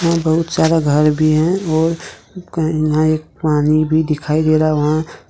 बहुत सारा घर भी है और यहां एक पानी भी दिखाई दे रहा है वहां--